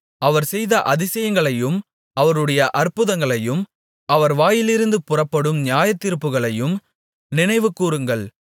அவர் செய்த அதிசயங்களையும் அவருடைய அற்புதங்களையும் அவர் வாயிலிருந்து புறப்படும் நியாயத்தீர்ப்புகளையும் நினைவுகூருங்கள்